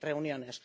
reuniones.